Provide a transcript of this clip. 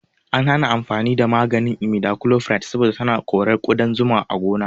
An hana amfani da maganin imidachlopride saboda tana korar ƙudan zuma a gona